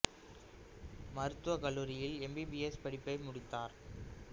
மருத்துவக் கல்லூரியில் M B B S படிப்பை முடித்தார்